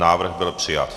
Návrh byl přijat.